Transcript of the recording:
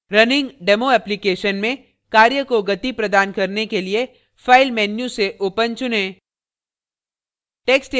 running demo application में कार्य को गति प्रदान करने के लिए file menu सेopen चुनें